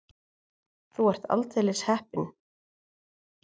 Þú ert aldeilis heppin.